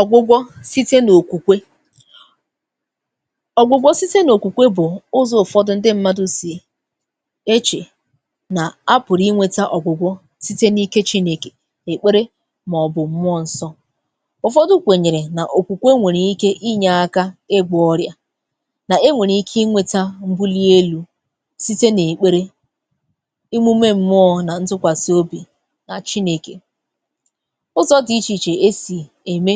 Ọgwụgwọ síté n’okwukwe. Ọgwụgwọ síté n’okwukwe bụ̀ ụzọ̀ ụfọdụ ǹdị m̀madụ sì echè nà a pụ̀rụ̀ inweta ogwụgwọ site n’ike chinèkè, èkpere màọbụ m̀mụọ nsọ. Ụfọdụ. kwènyèrè nà okwukwe nwèrè ike inye aka ịgwọ ọrịa, nà enwèrè ike inweta m̀buli elu site n’èkpere, imume m̀mụọ̇ nà ntụkwàsị obì nà chinèkè. Ụzọ dị iche iche esi eme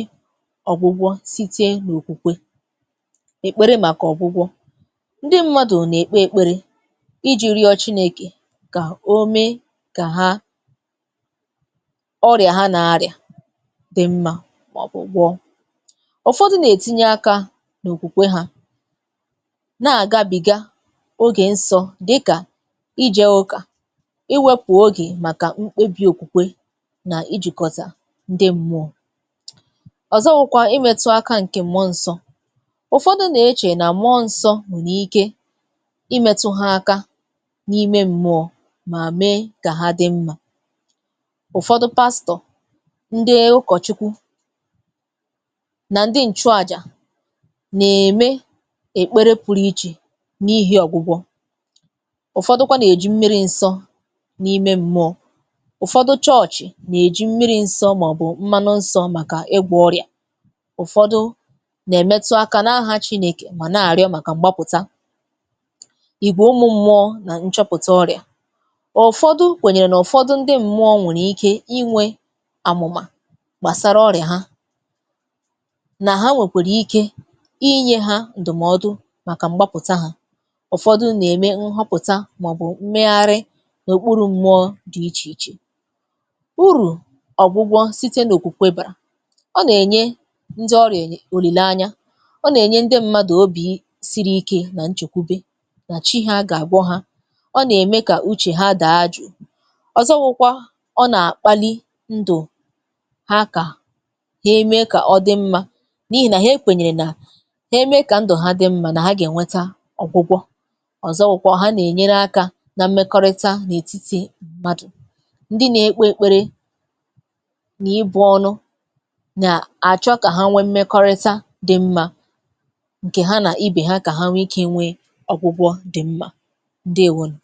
ọ̀gwụgwọ site n’òkwukwe. Èkpere màkà ọ̀gwụgwọ ǹdị m̀madụ nà-èkpe èkpere iji̇ rịọ chinèkè kà o mee kà ha ọrịa ha nà-arịa dị mma màọbụ̇ gwọọ. Ụfọdụ nà-ètinye aka n’òkwukwe ha na-àgabìga ogè nsọ dịka ije ụkà, iwepụ̀ ogè màkà m kpebi òkwukwe nà ijikọta ǹdị m̀mụọ. Ọzọ̀ wụkwa imetụ aka ǹkẹ̀ mụọ nsọ. Ụfọdụ nà-echè nà mụọ nsọ nwèrè ike imetụ ha aka n’ime m̀mụọ mà mee gà ha dị mma. Ụfọdụ pastọ, ǹdị ụkọchukwu nà ǹdị ǹchụàjà nà-eme èkpere pụrụ ichè n’ihi ọ̀gwụgwọ, ụfọdụkwa nà-eji m̀miri nsọ n’ime m̀mụọ. Ụfọdụ chọchì nà-eji m̀miri ǹsọ màọbụ mmanụ nsọ maka ịgwọ ọrịa. Ụfọdụ nà-emetụ aka n’aha chinèkè mà nà-arịọ màkà m̀gbapụ̀ta. Igwè umu m̀mụọ nà ǹchọ̀pụta ọrịa: ụfọdụ kwenyere na ụfọdụ ndị mmụọ nwèrè ike inwe àmụ̀mà gbàsara ọrịa ha nà ha nwèkwèrè ike inye ha ǹdụ̀mọdụ màkà m̀gbapụ̀ta ha. Ụfọdụ nà-eme ǹhọpụ̀tà màọbụ m̀mègharị nà-okpuru m̀mụọ dị̀ ichè ichè. Uru ọgwụgwơ síté n'okwukwe bara: ọ na-enye ndị ọrịa olilanya, ọ nà-ènye ndị m̀madụ obi̇ siri ike nà nchekwube nà chi ha gà-àgwọ ha. Ọ nà-ème kà uche ha daa jụ̀. Ọzọ wụkwa ọ nà-àkpali ndụ̀ ha kà ha eme kà ọ dị mma n’ihì nà ha ekwènyèrè nà ha eme kà ndụ̀ ha dị mma nà ha gà-enweta ọ̀gwụgwọ. Ọzọ̀ wụkwa ha nà-enyere aka nà mmekọrịta n’etiti m̀madụ. Ndị na-ekpe ekpere na-ibụ ọnụ na-achọ ka ha nwee mmekọrịta dị mma ǹkè ha nà-ibè ha kà ha nwee ike nwee ọgwụgwọ dị mma. ǹdeewonu.